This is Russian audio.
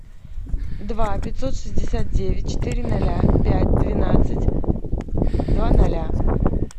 два пятьсот шестьдесят девять четыре ноля пять двенадцать два ноля